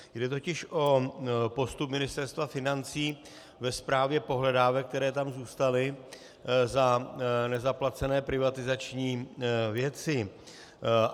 Jde totiž o postup Ministerstva financí ve správě pohledávek, které tam zůstaly za nezaplacené privatizační věci.